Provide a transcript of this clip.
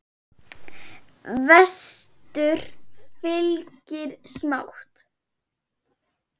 Vestur fylgir smátt.